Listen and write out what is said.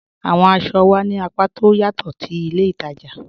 Awọn àṣọ wà ní àpá tó ọ̀ yatọ̀ ti ilẹ̀ ìtaja